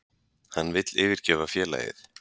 Hann vill yfirgefa félagið.